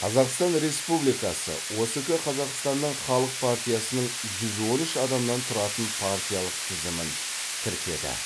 қазақстан республикасы оск қазақстанның халық партиясының жүз он үш адамнан тұратын партиялық тізімін тіркеді